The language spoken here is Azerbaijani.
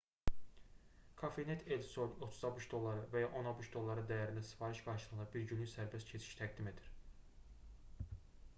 cafenet el sol 30 abş dolları və ya 10 abş dolları dəyərində sifariş qarşılığında bir günlük sərbəst keçiş təqdim edir